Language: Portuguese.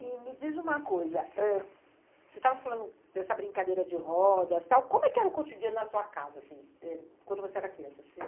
E me diz uma coisa, ãh, você estava falando dessa brincadeira de rodas e tal, como é que era o cotidiano na sua casa, assim, ãh, quando você era criança?